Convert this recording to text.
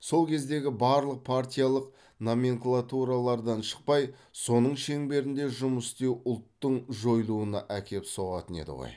сол кездегі барлық партиялық номенклатуралардан шықпай соның шеңберінде жұмыс істеу ұлттың жойылуына әкеп соғатын еді ғой